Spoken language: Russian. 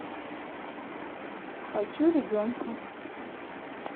хочу ребенка